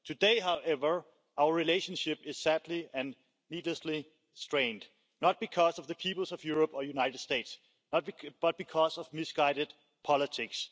Today, however, our relationship is sadly and needlessly strained, not because of the peoples of Europe or United States, but because of misguided politics.